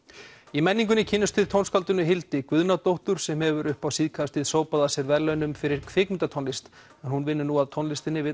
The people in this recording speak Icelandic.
í menningunni kynnumst við tónskáldinu Hildi Guðnadóttur sem hefur upp á síðkastið sópað að sér verðlaunum fyrir kvikmyndatónlist en hún vinnur nú að tónlistinni við